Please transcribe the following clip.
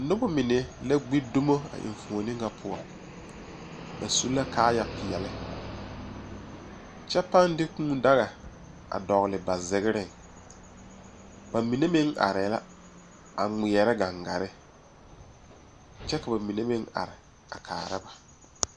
Noba mine la gbi dumo a enfuoni ŋa poɔ ba su la kaayɛ peɛle kyɛ paŋ de kûû daga a dɔgele ba zegereŋ ba mine meŋ arɛɛ la a kpeɛrɛ gaŋgare kyɛ ka ba mine meŋ are a kaara ba